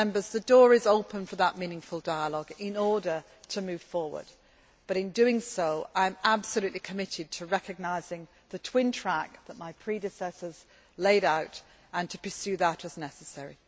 The door is open for that meaningful dialogue in order to move forward but, in saying that, I am absolutely committed to recognising the twin track that my predecessors laid out and to pursuing that as necessary.